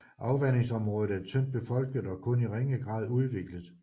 Afvandingsområdet er tyndt befolket og kun i ringe grad udviklet